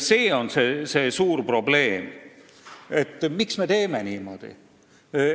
See on see suur probleem: miks me teeme niimoodi?